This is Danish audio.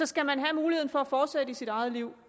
skal man have mulighed for at fortsætte i sit eget liv